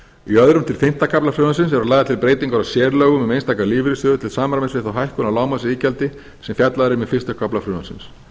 í öðrum til fimmta kafla frumvarpsins eru lagðar til breytingar á sérlögum um einstaka lífeyrissjóði til samræmis við þá hækkun á lágmarksiðgjaldi sem fjallað er um í fyrsta kafla frumvarpsins